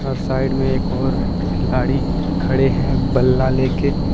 Side में एक और खिलाड़ी खड़े हैं बल्ला ले के ।